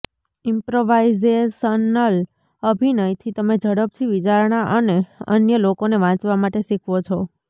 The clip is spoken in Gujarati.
ઇમ્પ્રવાઇઝેશનલ અભિનયથી તમે ઝડપથી વિચારણા અને અન્ય લોકોને વાંચવા માટે શીખવો છો